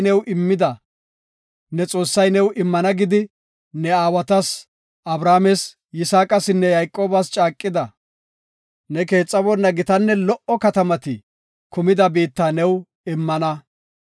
Goday, ne Xoossay new immana gidi ne aawatas Abrahaames, Yisaaqasinne Yayqoobas caaqida, ne keexaboonna gitanne lo77o katamati kumida biitta new immana.